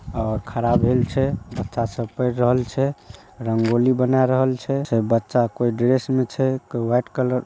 और खड़ा होएल छे बच्चा सब पढ़ रहल छे रंगोली बना रहल छे बच्चा सब कोई ड्रेस मे छे कोई व्हाइट कलर --